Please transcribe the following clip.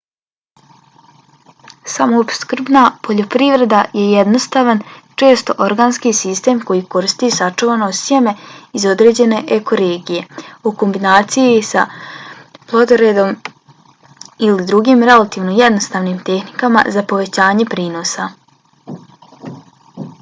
samoopskrbna poljoprivreda je jednostavan često organski sistem koji koristi sačuvano sjeme iz određene eko-regije u kombinaciji sa plodoredom ili drugim relativno jednostavnim tehnikama za povećanje prinosa